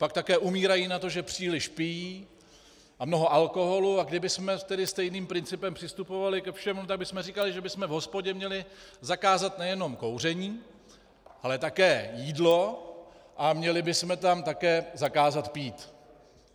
Pak také umírají na to, že příliš pijí, a mnoho alkoholu, a kdybychom tedy stejným principem přistupovali ke všemu, tak bychom říkali, že bychom v hospodě měli zakázat nejenom kouření, ale také jídlo a měli bychom tam také zakázat pít.